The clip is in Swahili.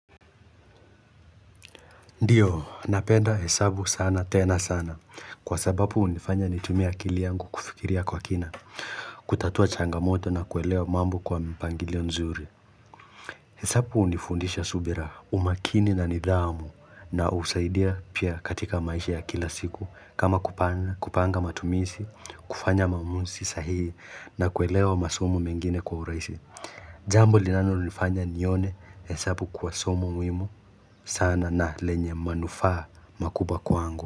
Ndiyo, napenda hesabu sana, tena sana kwa sababu unifanya nitumie akili yangu kufikiria kwa kina, kutatua changamoto na kuelewa mambo kwa mpangilio mzuri. Hesabu unifundisha subira umakini na nidhamu na husaidia pia katika maisha ya kila siku kama kupanga matumizi, kufanya maamuzi sahihi na kuelewa masomo mengine kwa urahisi Jambo linalonifanya nione hesabu kuwa somo muhimu sana na lenye manufaa makubwa kwangu.